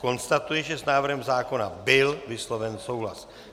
Konstatuji, že s návrhem zákona byl vysloven souhlas.